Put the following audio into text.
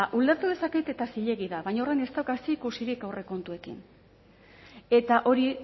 ulertu dezaket eta zilegi da baina horrek ez dauka zerikusirik aurrekontuekin eta hori